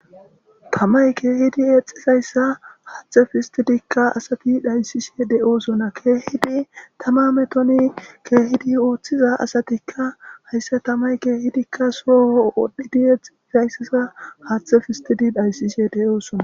tTamay keehidi exizayssa haathe fistidikka asati dhayssishe de7oosonna keehidi tama metoni keehidi ooththiza asatikka hayssa tamay keehidikka sooo wodhidi exiizayssiza haathe fistidi dhayssishe deyosona.